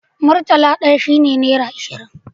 Murtala ɗaya shi ne nera ashirin